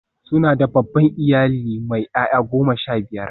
Suna da babban iyali mai 'ya'ya goma sha biyar.